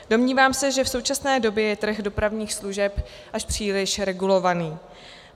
Domnívám se, že v současné době je trh dopravních služeb až příliš regulovaný.